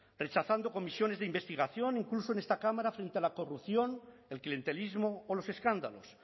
rechazando comisiones de investigación incluso en esta cámara frente a la corrupción el clientelismo o los escándalos